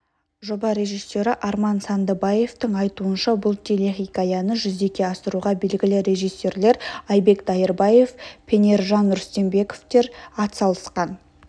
жоба режиссері арман сандыбаевтың айтуынша бұл телехикаяны жүзеге асыруға белгілі режиссерлер айбек дайырбаев пенержан рүстембековтер атсалысқан